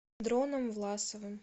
дроном власовым